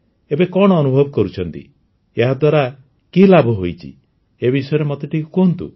ଏବେ କଣ ଅନୁଭବ କରୁଛନ୍ତି ଏହାଦ୍ୱାରା କି ଲାଭ ହୋଇଛି ଏ ବିଷୟରେ ମୋତେ କୁହନ୍ତି